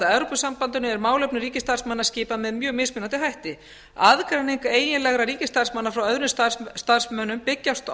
evrópusambandinu er málefnum ríkisstarfsmanna skipað með mjög mismunandi hætti aðgreining eiginlegra ríkisstarfsmanna frá öðrum starfsmönnum byggist